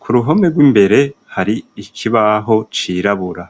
k'uruhome rw'imbere har'ikibaho cirabura.